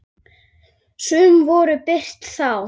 Sum voru birt þá.